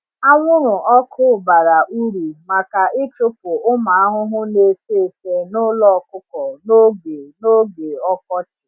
Anwụrụ ọkụ bara uru maka ịchụpụ ụmụ ahụhụ na-efe efe n’ụlọ ọkụkọ n’oge n’oge ọkọchị.